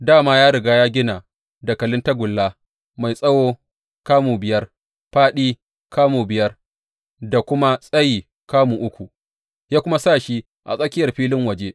Dā ma ya riga ya gina dakalin tagulla, mai tsawo kamu biyar, fāɗi kamu biyar da kuma tsayi kamu uku, ya kuma sa shi a tsakiyar filin waje.